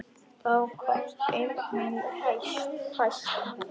Þá komst eymd mín hæst.